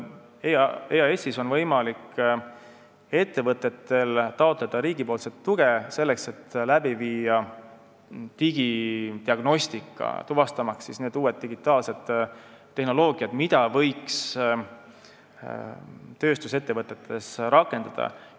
EAS-ist on ettevõtetel võimalik taotleda riigi tuge selleks, et teha digidiagnostikat uuele digitaalsele tehnoloogiale, mida võiks tööstusettevõtetes rakendada.